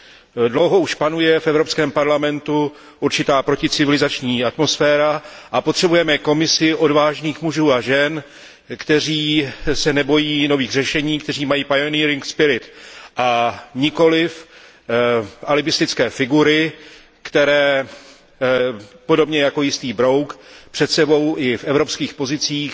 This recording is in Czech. Už dlouho panuje v Evropském parlamentu určitá proticivilizační atmosféra a potřebujeme Komisi odvážných mužů a žen, kteří se nebojí nových řešení, kteří mají a nikoliv alibistické figury, které podobně jako jistý brouk před sebou i v evropských pozicích